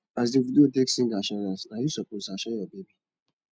as davido take sing assurance na so yu suppose assure yur baby